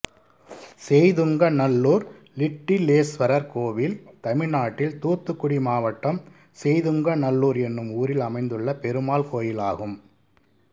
செய்துங்கநல்லூர் லிட்டிலேஸ்வரர் கோயில் தமிழ்நாட்டில் தூத்துக்குடி மாவட்டம் செய்துங்கநல்லூர் என்னும் ஊரில் அமைந்துள்ள பெருமாள் கோயிலாகும்